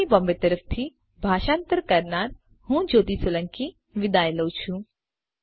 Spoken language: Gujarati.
આઈઆઈટી બોમ્બે તરફથી ભાષાંતર કરનાર હુંજ્યોતિ સોલંકી વિદાય લઉં છું